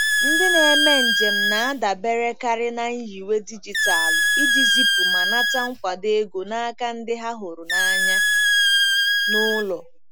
Ndị na-eme njem na-adaberekarị na nyiwe dijitalụ iji zipu ma nata nkwado ego n'aka ndị ha hụrụ n'anya n'ụlọ.